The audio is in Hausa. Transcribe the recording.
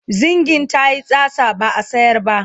zingin tayi tsatsa ba'a sayar ba